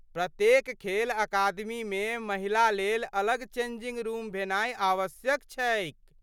प्रत्येक खेल अकादमीमे महिला लेल अलग चेंजिंग रूम भेनाइ आवश्यक छैक।